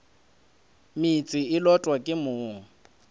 meetse e lotwa ke mong